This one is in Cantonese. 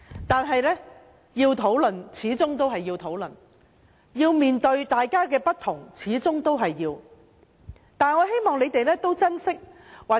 但是，要討論的事，始終都要討論；要面對大家的不同，始終都要面對。